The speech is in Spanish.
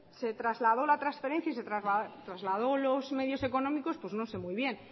se trasladó la transferencia y se traslado los medios económicos pues no sé muy bien